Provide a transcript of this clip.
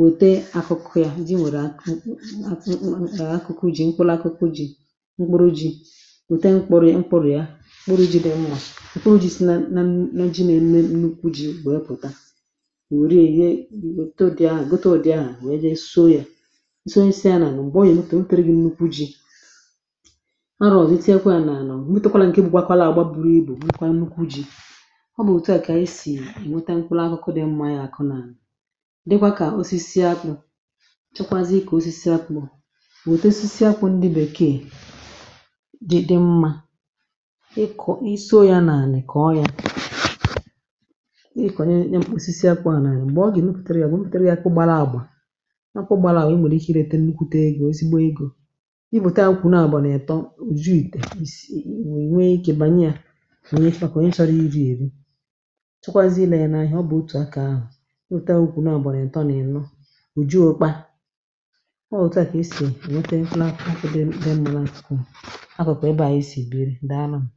wète akụkụ yȧ di, nwèrè akụkụ jị mkpụrụ, akụkụ ji̇ mkpụrụ, ji̇ wète mkpụrụ̇ ya, mkpụrụ jị dị mmȧ, mkpụrụ ji̇ si na ji nà eme n’ukwu ji̇. Bụ̀ e pụ̀ta, wère ihe goto dị ahụ̀, we je so yȧ, ọ nà-àrụ zi, tinyekwa ya n’àlà ah m̀mụta. Kwala ǹke bụ̀, gbakwala àgba, buru ibù nkwa n’u̇kwu̇ ji̇. Ọ bụ̀ òtu a kà esì èmote nkwụlọ, akụkụ dị̇ mmȧ yȧ, àkụ nà dịkwa kà osisi akụ̇. Chọkwazị ikė osisi akụ̇, mà òtù osisi akwụ̇ ndi bèkee, dịdị mmȧ ị kọ̀ iso ya n’àlà, kọ̀ọ yȧ, ị kọ̀nyẹ̀ ǹkwụ, osisi akwụ̇ nà àlà eh. M̀gbè ọ gà-ènupùtara, ya bụ̀ mpùtara, ya kụ gbara àgbà, ị bụ̀ ta nkwù, nọ̀ gbànà ètọ, ò juu ìtè, wèe nwee ike gbànye yȧ, kà ẹ chọrọ iri̇ èri. Chukwazị nȧẹ̇ n’ihe, ọ bụ̀ otù akȧ ahụ̀, ọ otu ha, ukwù nọ̀ gbànà ǹtọ nà ẹ̀nọ, ò juo okpa. Ọ wụ̀ otu à kà esì nwete nfụla akụ̇dị mụlà, ǹkikò akọ̀kọ̀ ịbà. Ȧnyị̇ sì biri dàa nụm ah.